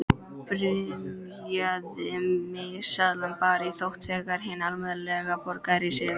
Byrjaði miðasalan bara í nótt þegar hinn almenni borgari sefur?